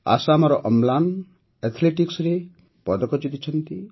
ଆସାମର ଅମ୍ଳାନ ଆଥ୍ଲେଟିକ୍ସରେ ପଦକ ଜିତିଛନ୍ତି